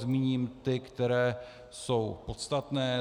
Zmíním ty, které jsou podstatné.